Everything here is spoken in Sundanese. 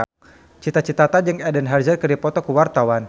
Cita Citata jeung Eden Hazard keur dipoto ku wartawan